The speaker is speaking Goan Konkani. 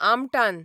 आमटान